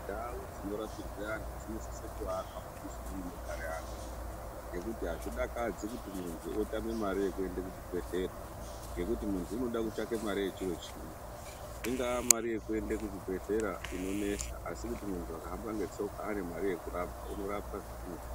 Ndau dzinorapirwe antu dzinosisa kuvamumizi ngemunogara antu ngekuti hazvidakadzi kuti muntu otame mari yekuende kuchibhedhleyaa, ngokuti muntu unoda kutsvake mari yechiro chimwe, ingaa mari yekuende kuchibhedhlera inonesa, asi kuti akahamba netsoka ane mari yekurapwaa unorapwaa zviri nyore.